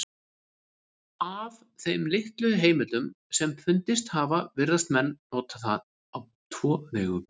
Af þeim litlu heimildum sem fundist hafa virðast menn nota það á tvo vegu.